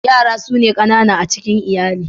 Yaya su ne kanana a cikin iyali.